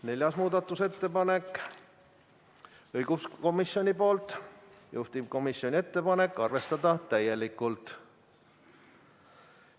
Neljas muudatusettepanek on õiguskomisjonilt, juhtivkomisjoni ettepanek: arvestada täielikult.